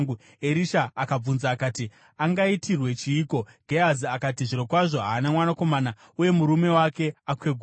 Erisha akabvunza akati, “Angaitirwe chiiko?” Gehazi akati, “Zvirokwazvo, haana mwanakomana uye murume wake akwegura.”